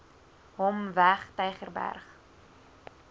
hom weg tygerberg